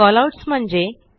callouts म्हणजे